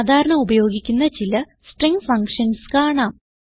സാധാരണ ഉപയോഗിക്കുന്ന ചില സ്ട്രിംഗ് ഫങ്ഷൻസ് കാണാം